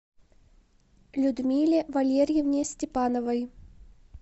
людмиле валерьевне степановой